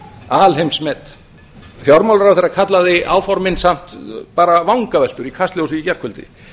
alheimsmet fjármálaráðherra kallaði áformin samt bara vangaveltur í kastljósi í gærkvöldi